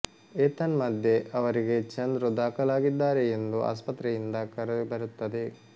ಏತನ್ಮಧ್ಯೆ ಅವರಿಗೆ ಚಂದ್ರು ದಾಖಲಾಗಿದ್ದಾರೆ ಎಂದು ಆಸ್ಪತ್ರೆಯಿಂದ ಕರೆ ಬರುತ್ತದೆ